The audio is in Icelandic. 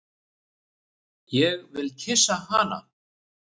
Ég vil kyssa hana.